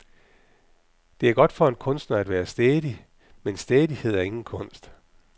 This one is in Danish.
Det er godt for en kunstner at være stædig, men stædighed er ingen kunst.